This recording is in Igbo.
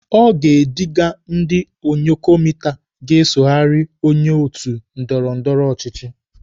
O ga-ediga ndị ònyòkomità ga-esoghari onye otu ndọrọndọrọ ọchịchị.